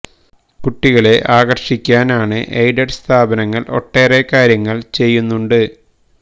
കുട്ടികളെ ആകര്ഷിക്കാന് unaided സ്ഥാപനങ്ങള് ഒട്ടറേ കാര്യങ്ങള് ചെയ്യുന്നുണ്ട്